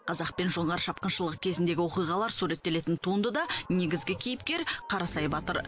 қазақ пен жоңғар шапқыншылығы кезіндегі оқиғалар суреттелетін туындыда негізгі кейіпкер қарасай батыр